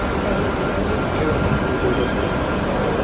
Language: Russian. эвертон против лестера